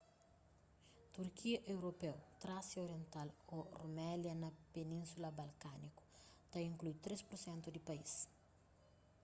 turkia europeu trásia oriental ô rumelia na península balkániku ta inklui 3% di país